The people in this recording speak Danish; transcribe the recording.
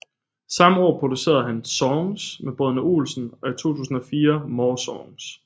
Samme år producerede han Songs med Brødrene Olsen og i 2004 More Songs